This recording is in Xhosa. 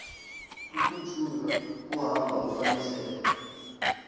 ukutshula kukuhamba ufunisela